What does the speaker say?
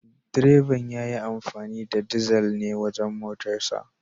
Direban ya yi amfani da dizal ne wajen motarsa.